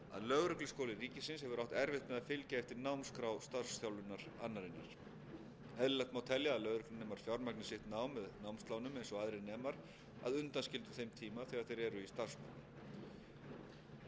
lögregluskóli ríkisins hefur átt erfitt með að fylgja eftir námskrá starfsþjálfunarannarinnar eðlilegt má telja að lögreglunemar fjármagni sitt nám með námslánum eins og aðrir nemar að undanskildum þeim tíma þegar þeir eru í starfsnámi undanfarin